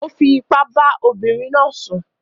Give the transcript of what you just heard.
ó fi ipá bá ọmọbìnrin náà sùn.